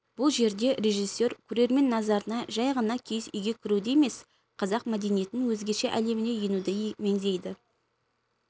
бұл жерде режиссер көрермен назарына жәй ғана киіз үйге кіруді емес қазақ мәдениетінің өзгеше әлеміне енуді меңзейді